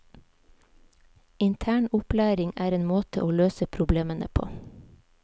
Intern opplæring er en måte å løse problemene på.